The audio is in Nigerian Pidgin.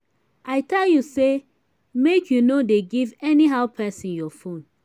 i don tell you say make you no dey give anyhow person your phone